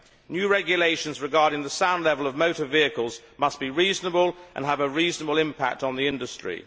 New regulations regarding the sound level of motor vehicles must be reasonable and have a reasonable impact on the industry.